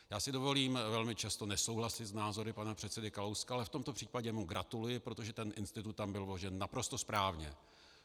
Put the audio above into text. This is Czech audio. Já si dovolím velmi často nesouhlasit s názory pana předsedy Kalouska, ale v tomto případě mu gratuluji, protože ten institut tam bylo vložen naprosto správně.